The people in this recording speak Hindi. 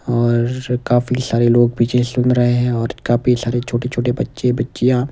और काफी सारे लोग पीछे सुन रहे हैं और काफी सारे छोटे-छोटे बच्चे बच्चियां।